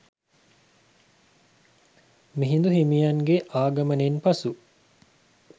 මිහිඳු හිමියන් ගේ ආගමනයෙන් පසු